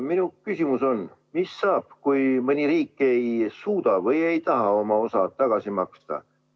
Minu küsimus on, mis saab, kui mõni riik ei suuda või ei taha oma osa tagasi maksta.